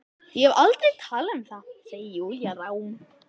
Ég hef aldrei talað um það, segir Júlía rám.